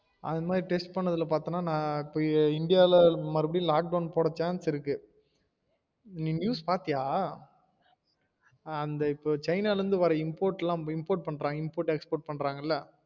அது மாறி test பண்ணதில்ல பாத்தேனா இந்தியால மறுபடியும் lock down போடுற chance இருக்கு நீ news பாத்தியா அந்த இப்ப சைனால இருந்து வர import எல்லாம் import export பண்றாங்களா